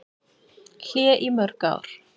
Hlé í mörg ár